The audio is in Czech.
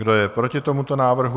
Kdo je proti tomuto návrhu?